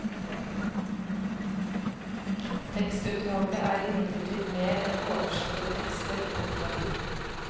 Tekstutvalget er imidlertid mer enn oversatte tekster. punktum